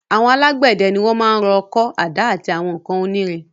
Àwọn alágbède ni wọ́n maá rọ ọkọ́, àdá àti àwọn nǹkan oní irin